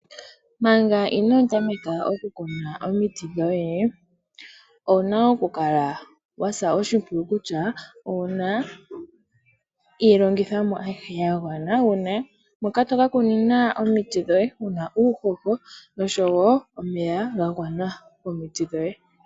Manga inoo tameka oku kuna omiti dhoye, owu na oku kala wasa oshimpwiyu kutya owu na iilongithomwa ayihe ya gwana, ngaashi ehala mpka to ka kuna, uuhoho, osho wo omeya ga gwana omiti dhoye.